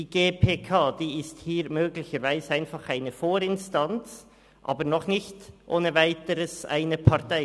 Die GPK ist hier möglicherweise einfach eine Vorinstanz, aber noch nicht ohne Weiteres eine Partei.